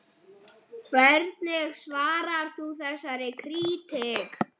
Hvernig svarar þú þessari krítík?